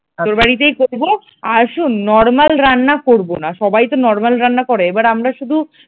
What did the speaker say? তোর বাড়িতেই করব, আর শোন normal রান্না করবো না সবাই তো normal রান্না করে এবার আমরা শুধু,